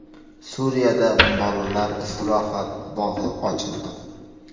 Suriyada bolalar istirohat bog‘i ochildi.